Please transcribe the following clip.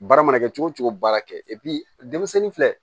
Baara mana kɛ cogo cogo baara kɛ denmisɛnnin filɛ